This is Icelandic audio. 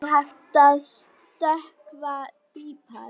Hún hefur öðlast nýja sýn.